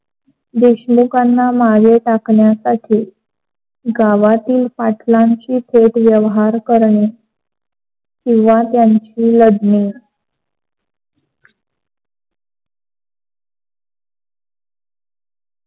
देशमुखांना मध्ये टाकण्यासाठी गावातील पाठलांची थेट व्यवहार करणे, किवा त्यांशी लढणे.